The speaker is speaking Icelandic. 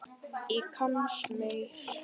Í Kasmír,